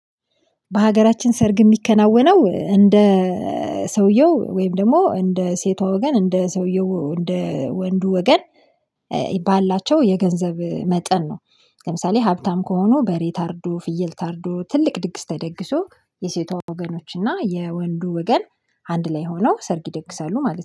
በሀገራችን ሰርግ የሚከናወነው እንደ ሰውየው ወይም ደግሞ እንደ ሴቷ ወገን እንደ ሰውየው እንደ ወንዱ ወገን ባላቸው የገንዘብ መጠን ነው። ለምሳሌ ሀብታም ከሆኑ በሬ ታርዶ ፍየል ታርዶ ትልቅ ድግስ ተደግሶ የሴቷ ወገኖች እና የወንዱ ወገን አንድ ላይ ሆኖ ሰርግ ይደግሳሉ ማለት ነው